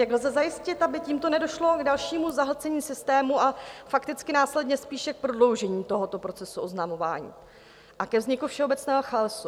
Jak lze zajistit, aby tímto nedošlo k dalšímu zahlcení systému a fakticky následně spíše k prodloužení tohoto procesu oznamování a ke vzniku všeobecného chaosu?